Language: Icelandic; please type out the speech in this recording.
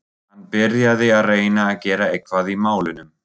Hann byrjaði að reyna að gera eitthvað í málunum.